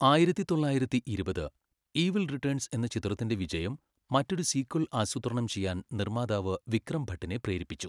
ആയിരത്തിതൊള്ളായിരത്തിഇരുപത്, Evil Returns' എന്ന ചിത്രത്തിന്റെ വിജയം മറ്റൊരു സീക്വൽ ആസൂത്രണം ചെയ്യാൻ നിർമാതാവ് വിക്രം ഭട്ടിനെ പ്രേരിപ്പിച്ചു.